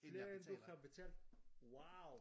Flere end du har betalt? Wow